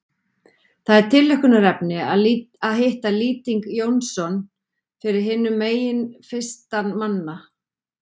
Það er tilhlökkunarefni að hitta Lýting Jónsson fyrir hinum megin fyrstan manna.